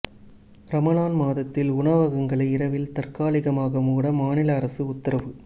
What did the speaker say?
ரமலான் மாதத்தில் உணவகங்களை இரவில் தற்காலிகமாக மூட மாநில அரசு உத்தரவு